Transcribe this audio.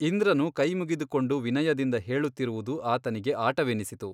ಇಂದ್ರನು ಕೈಮುಗಿದುಕೊಂಡು ವಿನಯದಿಂದ ಹೇಳುತ್ತಿರುವುದು ಆತನಿಗೆ ಆಟವೆನ್ನಿಸಿತು.